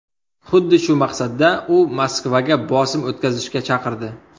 Xuddi shu maqsadda u Moskvaga bosim o‘tkazishga chaqirdi.